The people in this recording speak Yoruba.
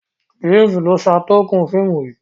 James ló ṣatunkọ fíìmù yí.